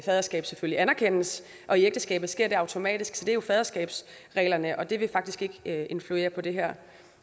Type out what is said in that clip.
faderskab selvfølgelig anerkendes og i ægteskabet sker det automatisk så det er jo faderskabsreglerne og det vil faktisk ikke influere på det her